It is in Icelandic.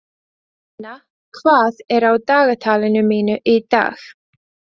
Nenna, hvað er á dagatalinu mínu í dag?